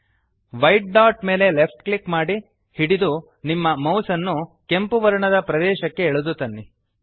white dot ಮೇಲೆ left click ಮಾಡಿ ಹಿಡಿದು ನಿಮ್ಮ ಮೌಸ್ ಅನ್ನು ಕೆಂಪು ವರ್ಣದ ಪ್ರದೇಶಕ್ಕೆ ಎಳೆದು ತನ್ನಿ